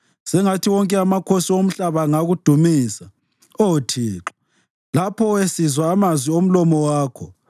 Sengathi wonke amakhosi omhlaba angakudumisa, Oh Thixo, lapho esizwa amazwi omlomo wakho.